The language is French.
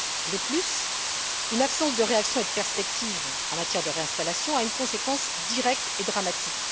De plus, une absence de réaction et de perspective en matière de réinstallation a une conséquence directe et dramatique.